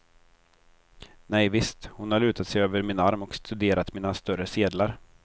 Nej visst, hon har lutat sig över min arm och studerat mina större sedlar.